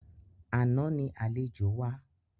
Àná ni àlejò wá.